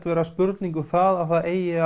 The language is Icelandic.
vera spurning um að það eigi